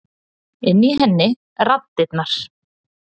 Inni í henni raddirnar.